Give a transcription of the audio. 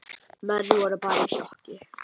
Menn voru bara í sjokki.